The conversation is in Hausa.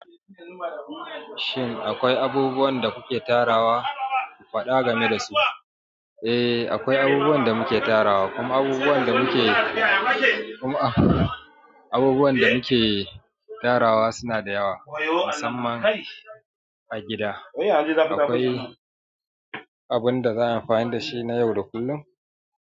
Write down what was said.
Shin akwai abubuwan da kuke tarawa? Faɗa game da su. Eh, akwai abubuwan da muke tarawa kuma abubuwan abubuwan da muke tarawa suna da yawa, musamman a gida. Eh, abinda za'a yi amfani dashi na yau da kullum.